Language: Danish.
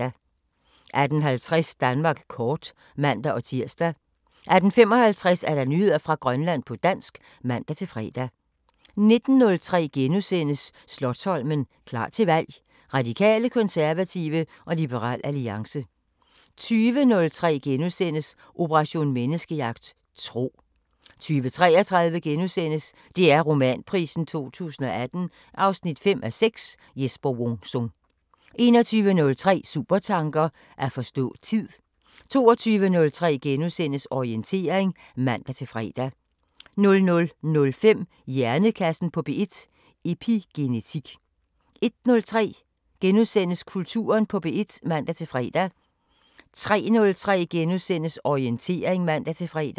18:50: Danmark kort (man-tir) 18:55: Nyheder fra Grønland på dansk (man-fre) 19:03: Slotsholmen – klar til valg: Radikale, konservative og Liberal Alliance * 20:03: Operation Menneskejagt: Tro * 20:33: DR Romanprisen 2018 5:6 – Jesper Wung Sung * 21:03: Supertanker: At forstå tid 22:03: Orientering *(man-fre) 00:05: Hjernekassen på P1: Epigenetik 01:03: Kulturen på P1 *(man-fre) 03:03: Orientering *(man-fre)